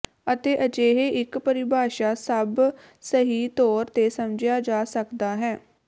ਅਤੇ ਅਜਿਹੇ ਇੱਕ ਪਰਿਭਾਸ਼ਾ ਸਭ ਸਹੀ ਤੌਰ ਤੇ ਸਮਝਿਆ ਜਾ ਸਕਦਾ ਹੈ